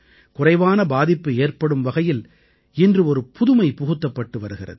குறைவான பாதிப்பு ஏற்படும் வகையில் இன்று ஒரு புதுமை புகுத்தப்பட்டு வருகிறது